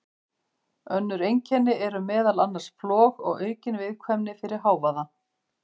Önnur einkenni eru meðal annars flog og aukin viðkvæmni fyrir hávaða.